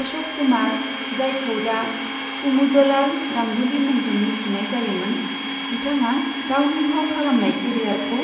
अशक कुमार, जायखौ दा कुमुदलाल गांगुली मुंजों मिथिनाय जायोमोन, बिथाङा गावनि फाव खालामनाय केरियारखौ